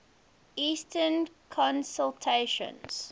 eastern constellations